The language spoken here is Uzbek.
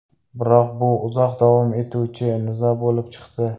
Biroq bu uzoq davom etuvchi nizo bo‘lib chiqdi.